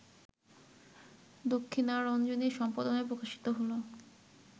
দক্ষিণারঞ্জনের সম্পাদনায় প্রকাশিত হলো